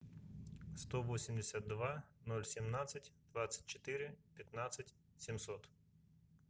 сто восемьдесят два ноль семнадцать двадцать четыре пятнадцать семьсот